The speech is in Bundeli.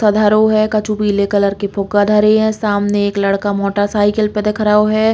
कछु पीले कलर की फुग्गा धरे हैं। सामने एक लड़का मोटरसाइकिल पे दिख रहो है।